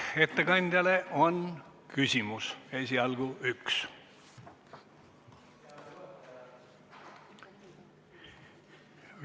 Ettekandjale on küsimus, esialgu üks.